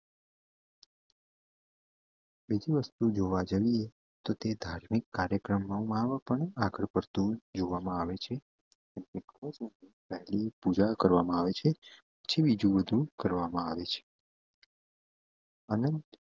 બીજી વસ્તુ જોવા જઈએ તો તે ધાર્મિક કાર્યક્રમો આવે છે બીજું બધું કરવામાં આવે છે અને